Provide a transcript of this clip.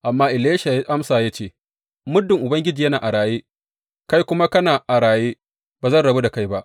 Amma Elisha ya amsa ya ce, Muddin Ubangiji yana a raye, kai kuma kana a raye, ba zan rabu da kai ba.